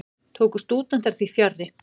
Tóku stúdentar því fjarri.